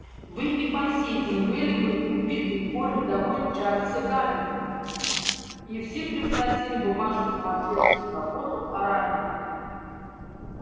вы и по сей день были бы убитой горем вдовой чарльза гамильтона и все превзносили бы вашу самоотверженную заботу о раненых